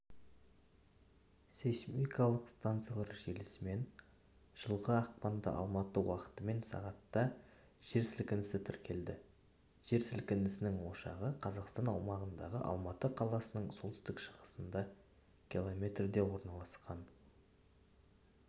сейсмикалық станциялар желісімен жылғы ақпанда алматы уақытымен сағатта жер сілкінісі тіркелді жер сілінісінің ошағы қазақстан аумағында алматы қаласының солтүстік-шығысында км орналасқан